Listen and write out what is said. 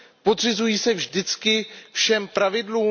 Podřizují se vždycky všem pravidlům?